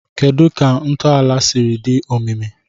Kedu ka ntọala siri dị omimi?